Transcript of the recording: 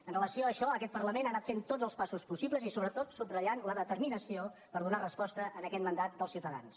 amb relació a això aquest parlament ha anat fent tots els passos possibles i sobretot subratllant la determinació per donar resposta a aquest mandat dels ciutadans